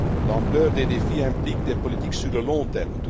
L'ampleur des défis implique des politiques sur le long